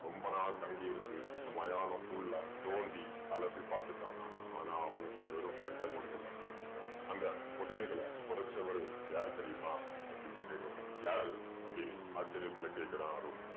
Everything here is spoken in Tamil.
ரொம்ப நாள் தங்கி இருந்து அந்த மயானம் full ஆ தோண்டி அலசி பாத்துட்டானாம். ஆனா அவனுக்கு வெறும் மண்டை ஓடுகள் தான் கிடைச்சுச்சாம். அந்த புதையல்களை பொதைச்சவரு யாரு தெரியுமா அப்படீன்னு கேக்கவும். யாரு அப்படீன்னு ஆச்சசர்யத்துல கேக்கறான் அருள்.